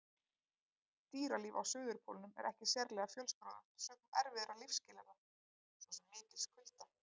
Dýralíf á Suðurpólnum er ekki sérlega fjölskrúðugt sökum erfiðra lífsskilyrða, svo sem mikils kulda.